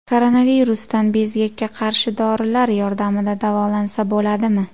Koronavirusdan bezgakka qarshi dorilar yordamida davolansa bo‘ladimi?